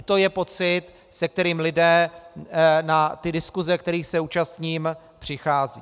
I to je pocit, se kterým lidé na ty diskuse, kterých se účastním, přicházejí.